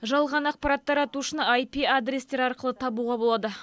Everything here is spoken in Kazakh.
жалған ақпарат таратушыны айпи адрестер арқылы табуға болады